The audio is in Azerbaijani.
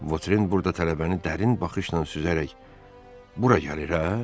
Votren burada tələbəni dərin baxışla süzərək bura gəlir, hə?